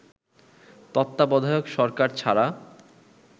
তত্ত্বাবধায়ক সরকার ছাড়া